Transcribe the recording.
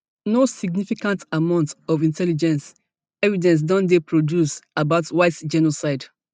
no significant amount of intelligence evidence don dey produced about white genocide